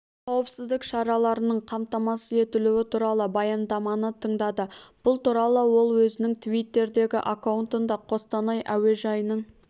қауіпсіздік шараларының қамтамасыз етілуі туралы баяндаманы тыңдады бұл туралы ол өзінің твиттердегі аккаунтында қостанай әуежайының